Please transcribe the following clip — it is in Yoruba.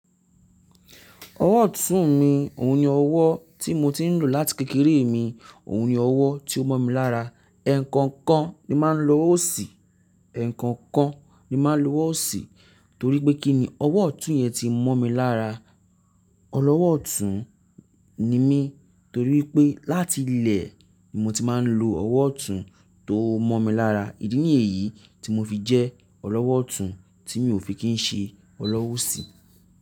Ọwọ́ ọ̀tún mi, òun ni ọwọ́ tí mo ti ń lò láti kékeré mi, òun ni ọwọ́ tí ó mọ́ mi lára. Ẹ̀ẹ̀kan kan ni máa ń lo ọwọ́ òṣì, ẹ̀ẹ̀kan kan ni máa ń lo ọ́ ṣì torí pé kí ni ọwọ́ ọ̀tún yẹn ti ń mọ́ mi lára. Ọlọ́wọ́ ọ̀tún ni mí torí pé láti ilẹ̀ ni mo ti máa ń lo ọwọ́ ọ̀tún tó mọ́ mi lára. Ìdí nìyí tí mo fi jẹ́ ọlọ́wọ́ ọ̀tún tí mi ò fi kí ń ṣe ọlọ́wọ́ òsì.